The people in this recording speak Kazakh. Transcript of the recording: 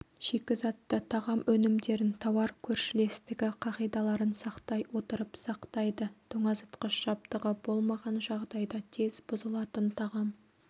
шикізатты тағам өнімдерін тауар көршілестігі қағидаларын сақтай отырып сақтайды тоңазытқыш жабдығы болмаған жағдайда тез бұзылатын тағам